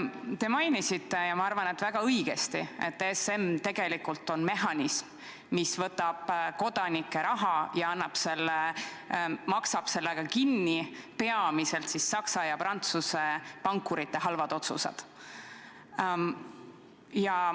Te mainisite – ja ma arvan, väga õigesti –, et ESM on tegelikult mehhanism, mis võtab kodanike raha ja maksab sellega kinni peamiselt Saksa ja Prantsuse pankurite halvad otsused.